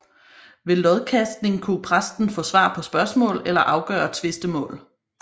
Ved lodkastning kunne præsten få svar på spørgsmål eller afgøre tvistemål